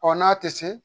Ɔ n'a tɛ se